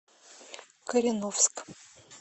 кореновск